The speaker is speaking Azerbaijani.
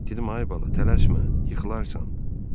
Dedim: ay bala, tələsmə, yıxılarsan.